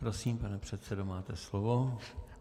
Prosím, pane předsedo, máte slovo.